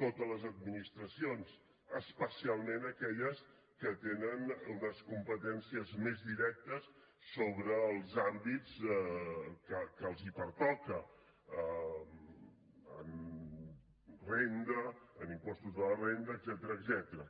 totes les administracions especialment aquelles que tenen unes competències més directes sobre els àmbits que els pertoca en renda en impostos de la renda etcètera